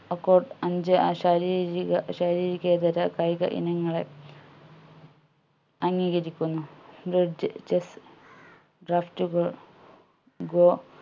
അഞ്ച് അശരീരിക ശാരീരികേതര കായിക ഇനങ്ങളെ അംഗീകരിക്കുന്നു bridge chess draft കൾ go